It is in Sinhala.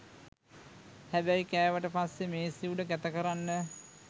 හැබැයි කෑවට පස්සේ මේසේ උඩ කැත කරන්න